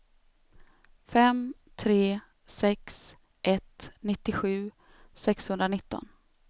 fem tre sex ett nittiosju sexhundranitton